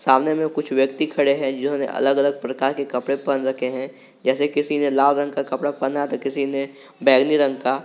सामने में कुछ व्यक्ति खड़े हैं जिन्होंने अलग अलग प्रकार के कपड़े पहन रखे हैं जैसे किसी ने लाल रंग का कपड़ा पहना किसी ने बैंगनी रंग का।